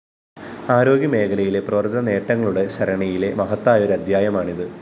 ആരോഗ്യമേഖലയിലെ പ്രവര്‍ത്തനനേട്ടങ്ങളുടെ സരണിയിലെ മഹത്തായൊരധ്യായമാണിത്